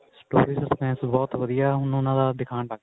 story suspense ਬਹੁਤ ਵਧੀਆ ਹੁਣ ਉਹਨਾਂ ਦਾ ਦਿਖਾਣ ਲਾਗੇ